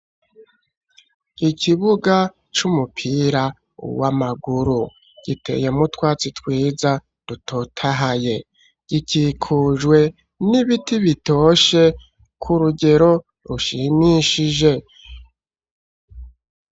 Ikibuga c'umupira w'amaguru, giteyemwo utwatsi twiza, dutotahaye, gikikujwe n'ibiti bitoshe, ku rugero rushimishije.